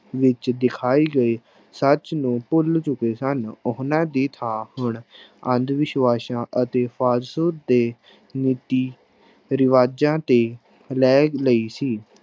ਵਿੱਚ ਦਿਖਾਏ ਗਏ ਸੱਚ ਨੂੰ ਭੁੱਲ ਚੁੱਕੇ ਸਨ, ਉਹਨਾਂ ਦੀ ਥਾਂ ਹੁਣ ਅੰਧਵਿਸ਼ਵਾਸਾਂ ਅਤੇ ਦੇ ਰੀਤੀ ਰਿਵਾਜਾਂ ਤੇ ਲੈ ਲਈ ਸੀ।